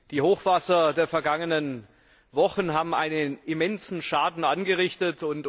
Die Hochwasser der vergangenen Wochen haben einen immensen Schaden angerichtet.